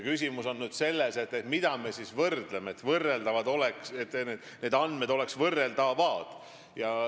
Küsimus on nüüd selles, mida me võrdleme, et andmed oleks võrreldavad.